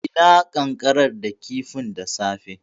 E, na ƙanƙarar da kifin da safe.